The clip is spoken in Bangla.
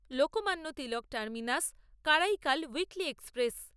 Lokmanya Tilak terminus Karaikal weekly express